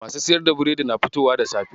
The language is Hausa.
Masu siyar da biredi na fitowa da safe.